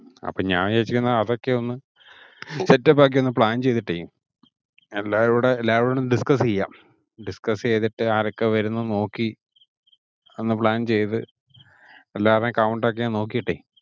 അപ്പം ഞാൻ ഉദ്ദേശിക്കുന്നെ അതൊക്കെ ഒന്ന് set up ഒക്കെ ഒന്ന് plan ചെയ്തിട്ടേ എല്ലാരുടെ~ എല്ലാരോടും discuss ചെയ്യാം. discuss ചെയ്തിട്ട് ആരൊക്കെ വരുന്നു എന്ന് നോക്കി ഒന്ന് plan ചെയ്തു എല്ലാവരുടെയും count ഒക്കെ ഒന്ന് നോക്കിയിട്ടേ